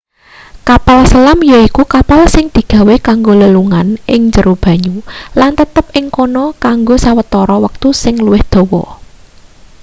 kapal selam yaiku kapal sing digawe kanggo lelungan ing jero banyu lan tetep ing kana kanggo sawetara wektu sing luwih dawa